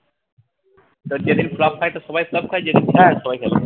তো যেদিন flop খায় তো সবাই flop খায়